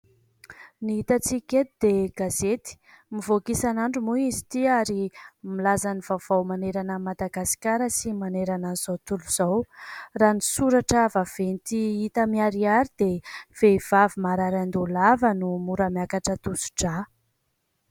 Ny hitantsika eto dia gazety. Mivoaka isanandro moa izy ity ary milaza ny vaovao manerana an'i Madagasikara sy manerana an'izao tontolo izao. Raha ny soratra vaventy hita miharihary dia "Vehivavy marary andoha lava no mora miakatra tosidrà."